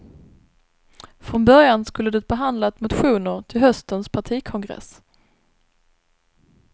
Från början skulle det behandlat motioner till höstens partikongress.